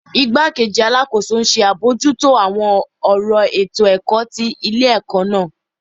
Igbakeji Alakoso nṣe abojuto awọn ọran eto-ẹkọ ti ile-ẹkọ naa